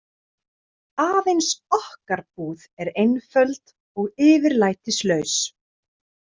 Aðeins okkar búð er einföld og yfirlætislaus.